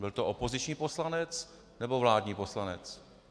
Byl to opoziční poslanec, nebo vládní poslanec?